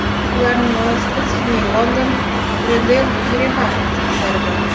Ularning orasida Sidney−London, Grendeyl−Yerevan juftliklari bor.